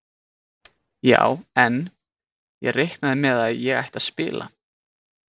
Já en. ég reiknaði með að ég ætti að spila!